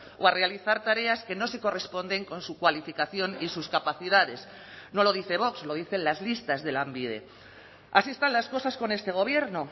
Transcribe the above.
o a realizar tareas que no se corresponden con su cualificación y sus capacidades no lo dice vox lo dicen las listas de lanbide así están las cosas con este gobierno